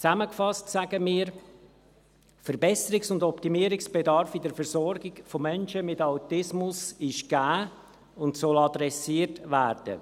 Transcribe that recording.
Zusammengefasst sagen wir: Verbesserungs- und Optimierungsbedarf in der Versorgung von Menschen mit Autismus ist gegeben und soll adressiert werden.